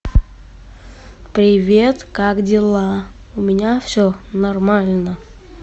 привет как дела у меня все нормально